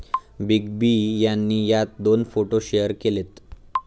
Big B यांनी यात दोन फोटो शेअर केलेत.